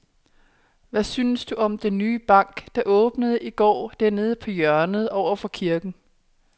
Hvad synes du om den nye bank, der åbnede i går dernede på hjørnet over for kirken?